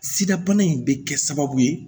Sidabana in bɛ kɛ sababu ye